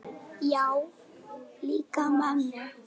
Já, líka mömmu